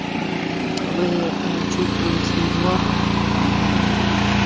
мм вы ээ чувствуете его аа